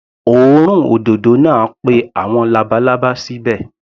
Òórùn òdòdó náà pé àwọn labalábá síbẹ̀.